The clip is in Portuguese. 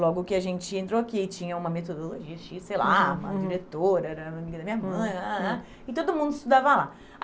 Logo que a gente entrou aqui e tinha uma metodologia, tinha, sei lá, uma diretora, era amiga da minha mãe, e todo mundo estudava lá.